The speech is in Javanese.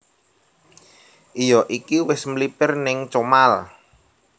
Iyo iki wis mlipir ning Comal